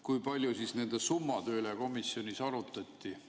Kui palju nende summade üle komisjonis arutati?